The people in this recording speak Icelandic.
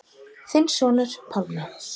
Þinn sonur, Pálmi.